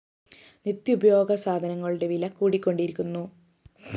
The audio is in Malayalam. നിത്യോപയോഗ സാധനങ്ങളുടെ വില കൂടിക്കൊണ്ടിരിക്കുന്നു